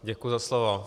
Děkuji za slovo.